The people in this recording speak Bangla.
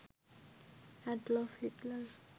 Adolf Hitler